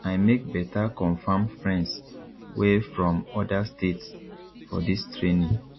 i make beta confam friends wey from oda states for dis training